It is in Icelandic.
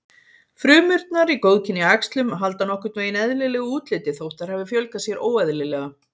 Frumurnar í góðkynja æxlum halda nokkurn veginn eðlilegu útliti þótt þær hafi fjölgað sér óeðlilega.